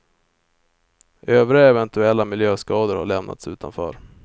Övriga eventuella miljöskador har lämnats utanför.